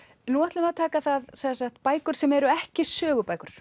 nú ætlum við að taka bækur sem eru ekki sögubækur